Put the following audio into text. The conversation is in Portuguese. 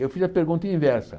Eu fiz a pergunta inversa.